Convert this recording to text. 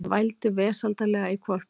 Það vældi vesældarlega í hvolpinum.